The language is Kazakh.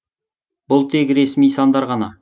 бұл тек ресми сандар ғана